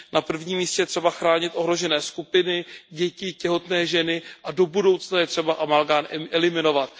Na prvním místě je třeba chránit ohrožené skupiny, děti, těhotné ženy a do budoucna je třeba amalgám eliminovat.